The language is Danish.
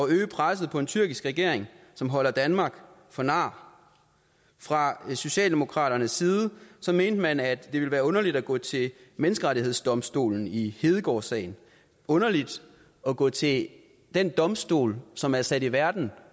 øge presset på en tyrkisk regering som holder danmark for nar fra socialdemokraternes side mente man at det ville være underligt at gå til menneskerettighedsdomstolen i hedegaardsagen underligt at gå til den domstol som er sat i verden